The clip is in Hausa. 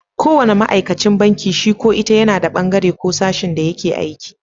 Ko wanna ma'aikacin banki shi ko ita yana da bangaren ko sashin da yake aiki.